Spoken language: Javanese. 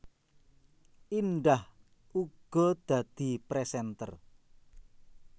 Indah uga dadi presenter